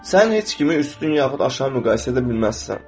Sən heç kimi üstün yaxud aşağı müqayisə edə bilməzsən.